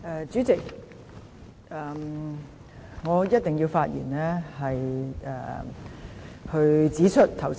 主席，我一定要發言指出，剛才有議員......